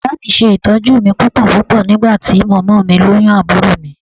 Bàbá mi ṣe ìtọ́jú mi púpọ̀púpọ̀ nígbà tí mọ́mọ́ mi lóyún àbúrò mi